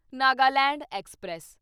Nagaland express